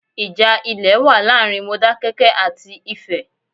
Ìjà ilè wa láàrin Modákẹ́kẹ́ àti Ifẹ̀